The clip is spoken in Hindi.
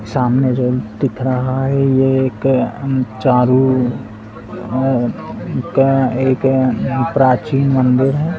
सामने जो दिख रहा है यह एक ऊम चारु ओ और का एक ऊम प्राचीन मंदिर है।